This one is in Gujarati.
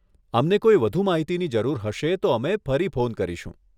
અમને કોઈ વધુ માહિતીની જરૂર હશે તો અમે ફરી ફોન કરીશું.